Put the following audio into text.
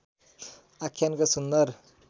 आख्यानको सुन्दर